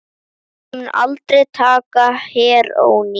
Ég mundi aldrei taka heróín.